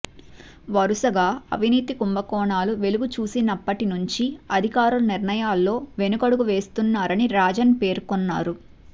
వరుసగా అవినీతి కుంభకోణాలు వెలుగు చూసినప్పటి నుంచి అధికారులు నిర్ణయాల్లో వెనకడుగు వేస్తున్నారని రాజన్ పేర్కొన్నారు